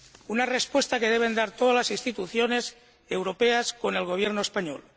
Una respuesta que deben dar todas las instituciones europeas con el Gobierno español.